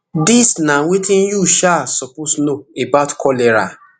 dis na wetin you um suppose know about cholera